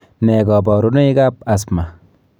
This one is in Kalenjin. Nee kabarunoikab asthma?